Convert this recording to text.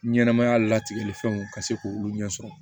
Ɲɛnɛmaya latigɛlifɛnw ka se k'olu ɲɛ sɔrɔ